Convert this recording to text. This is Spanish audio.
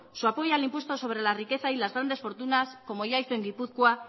al impuesto sobre la riqueza y las grandes fortunas como ya hizo en gipuzkoa